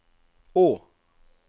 å